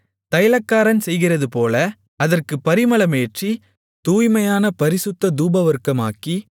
தைலக்காரன் செய்கிறதுபோல அதற்குப் பரிமளமேற்றி தூய்மையான பரிசுத்த தூபவர்க்கமாக்கி